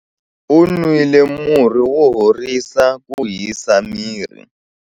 U nwile murhi wo horisa ku hisa miri.